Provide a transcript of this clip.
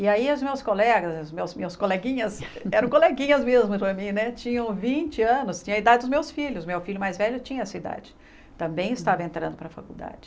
E aí os meus colegas, os meus meus coleguinhas, eram coleguinhas mesmo para mim né, tinham vinte anos, tinha a idade dos meus filhos, meu filho mais velho tinha essa idade, também estava entrando para a faculdade.